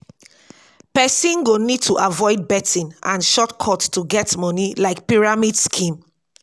pesin go need to avoid betting and shortcut to get moni like pyramid scheme